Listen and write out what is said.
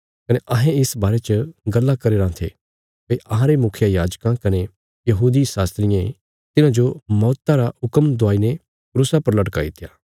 कने अहें इस बारे च गल्लां करीराँ थे भई अहांरे मुखियायाजकां कने धर्म शास्त्रियें तिन्हाजो मौता रा हुक्म दुआई ने क्रूसा पर लटकाईत्या